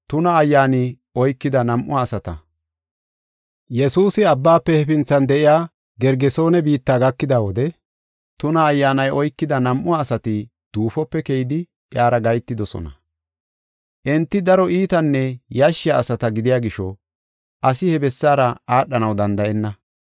Yesuusi abbaafe hefinthan de7iya Gergesoone biitta gakida wode tuna ayyaanay oykida nam7u asati duufope keyidi iyara gahetidosona. Enti daro iitanne yashshiya asata gidiya gisho asi he bessaara aadhanaw danda7enna.